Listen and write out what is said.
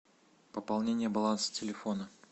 пополнение баланса телефона